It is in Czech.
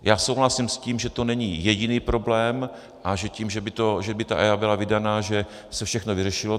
Já souhlasím s tím, že to není jediný problém a že tím, že by ta EIA byla vydaná, by se všechno vyřešilo.